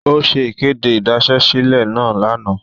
O ṣe ikede idasesile naa lana.